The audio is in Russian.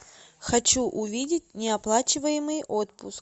хочу увидеть неоплачиваемый отпуск